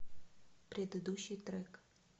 предыдущий трек